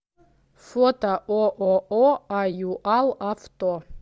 фото ооо аюал авто